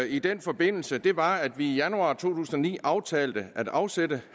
i den forbindelse nød var at vi i januar to tusind og ni aftalte at afsætte